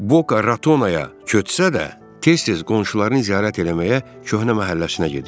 Boca Ratonaya köçsə də, tez-tez qonşularını ziyarət eləməyə köhnə məhəlləsinə gedirdi.